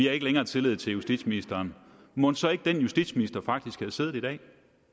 har ikke længere tillid til justitsministeren mon så ikke den justitsminister faktisk havde siddet i dag